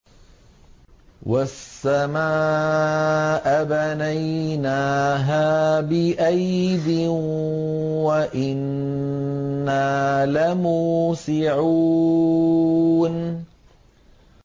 وَالسَّمَاءَ بَنَيْنَاهَا بِأَيْدٍ وَإِنَّا لَمُوسِعُونَ